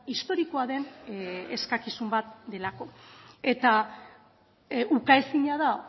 historikoa den eskakizun bat delako eta ukaezina da